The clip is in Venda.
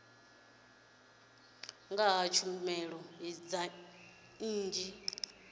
nga ha tshumelo dza nnyi